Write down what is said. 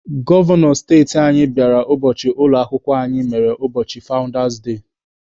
Gọvanọ steeti anyị bịara ụbọchị ụlọ akwụkwọ anyị mere ụbọchị fawụndas ha.